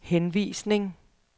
henvisning